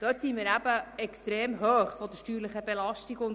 Die steuerliche Belastung ist für sie extrem hoch.